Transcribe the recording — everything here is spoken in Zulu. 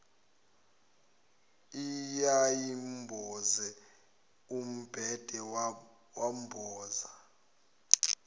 eyayimboze umbhede wamboza